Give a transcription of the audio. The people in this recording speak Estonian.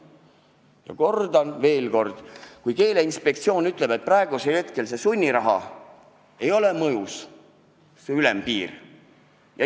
Ja kordan veel kord: Keeleinspektsioon ütleb, et praegu see sunniraha ülemmäär ei ole mõjus.